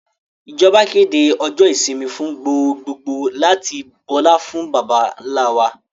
Ìjọba kéde ọjọ́ ìsinmi fún gbogbogbòò láti bọlá fún baba ńlá wa